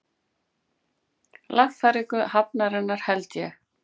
Lagfæringu hafnarinnar, held ég.